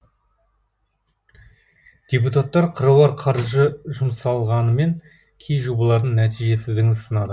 депутаттар қыруар қаржы жұмсалғанымен кей жобалардың нәтижесіздігін сынады